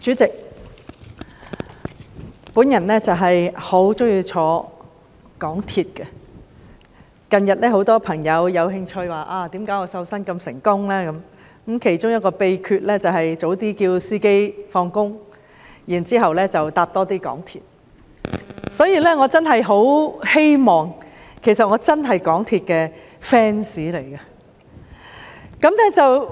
主席，我很喜歡乘搭港鐵，近日很多朋友對我瘦身成功一事很感興趣，而我其中一個秘訣，就是請司機提早下班，讓我有機會多乘搭港鐵，我真是港鐵的 fans。